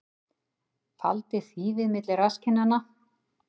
Faldi þýfi milli rasskinnanna